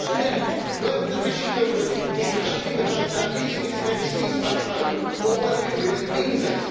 We would find out whether the British Government is hiding behind that, using it as an excuse back home, or whether it really means it.